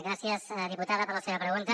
gràcies diputada per la seva pregunta